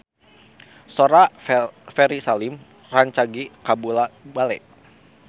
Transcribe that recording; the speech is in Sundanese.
Sora Ferry Salim rancage kabula-bale